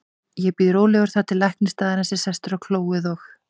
Ég bíð rólegur þar til læknir staðarins er sestur á klóið og